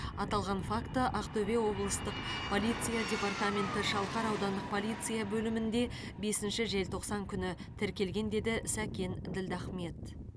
аталған факті ақтөбе облыстық полиция департаменті шалқар аудандық полиция бөлімінде бесінші желтоқсан күні тіркелген деді сәкен ділдахмет